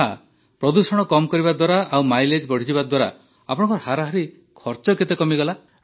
ଆଚ୍ଛା ପ୍ରଦୂଷଣ କମ୍ କରିବା ଦ୍ୱାରା ଆଉ ମାଇଲେଜ୍ ବଢ଼ିଯିବା ଦ୍ୱାରା ଆପଣଙ୍କର ହାରାହାରି ଖର୍ଚ କେତେ କମିଗଲା